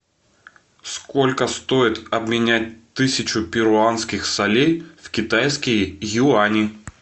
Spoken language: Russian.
сколько стоит обменять тысячу перуанских солей в китайские юани